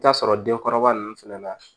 I bi taa sɔrɔ denkɔrɔba ninnu fɛnɛ la